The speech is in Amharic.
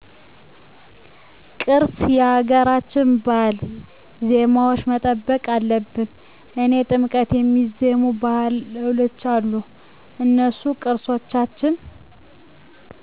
ቅርስ የሀገራችን ባህል ዜማዎች መጠበቅ አለብን ለኔ ጥምቀት የሚዜሙ ባህሎች አሉ እነሱን ቅርሶቻችን